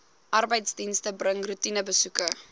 arbeidsdienste bring roetinebesoeke